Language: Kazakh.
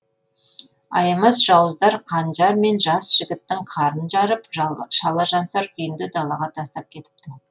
аямас жауыздар қанжармен жас жігіттің қарнын жарып шалажансар күйінде далаға тастап кетіпті